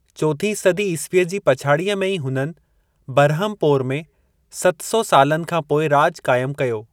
चोथीं सदी ईसवीअ जी पछाड़ीअ में ई हुननि बरहमपोर में सत सौ सालनि खां पोइ राॼु क़ाइमु कयो।